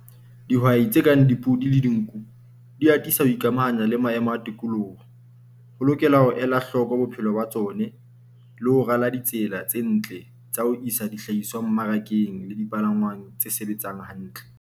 Dihwai tse kang dipodi le dinku, di atisa ho ikamahanya le maemo a tikoloho. Ho lokela ho ela hloko bophelo ba tsone le ho rala ditsela tse ntle tsa ho isa dihlahiswa mmarakeng le dipalangwang tse sebetsang hantle.